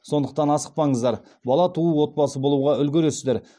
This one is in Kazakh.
сондықтан асықпаңыздар бала туу отбасы болуға үлгересіздер